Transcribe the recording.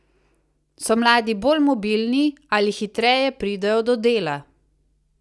So mladi bolj mobilni, ali hitreje pridejo do dela?